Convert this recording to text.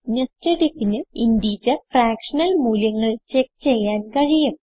nested ifന് integer fractional മൂല്യങ്ങൾ check ചെയ്യാൻ കഴിയും